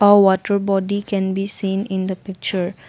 a water body can be seen in the picture.